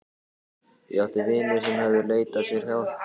Ég átti vini sem höfðu leitað sér hjálpar.